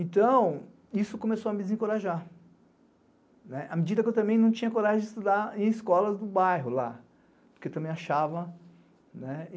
Então, isso começou a me desencorajar, à medida que eu também não tinha coragem de estudar em escolas do bairro lá, porque eu também achava.